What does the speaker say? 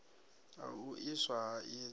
ha u iswa ha idzo